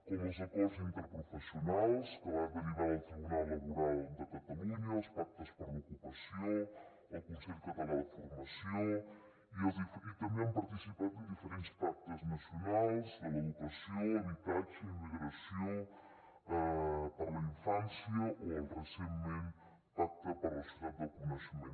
com els acords interprofessionals que van derivar del tribunal laboral de catalunya els pactes per l’ocupació el consell català de formació i també han participat en diferents pactes nacionals de l’educació habitatge immigració per a la infància o el recentment pacte per a la societat del coneixement